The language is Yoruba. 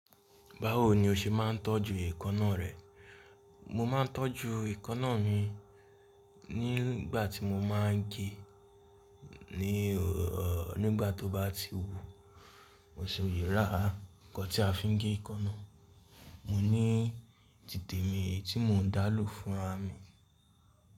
Báwo ni o ṣe máa ń tọ́jú èékánná rẹ? Mo máa ń tọ́jú èékánná mi nígbà tí mo máa ń gé ní ò nígbà tó bá ti wú, mo so yàrá nǹkan tí a fi ń gé èékánná. Mo ní títè mi eyi tí mò ń dá lò fúnra mì.